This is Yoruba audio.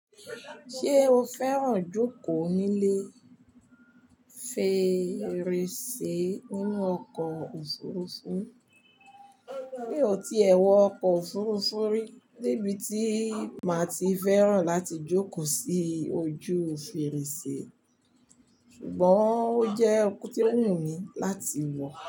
Ṣé o fẹ́ràn jókòó nílé fèrèsé nínú ọkọ̀ òfurufú? Mi ò tíì ẹ wọ ọkọ̀ òfurufú rí, níbi tí màá ti fẹ́ràn láti jókòó sí ojú fèrèsé. Ṣùgbọ́n ó jẹ́ okó tí wù mí láti wọ̀.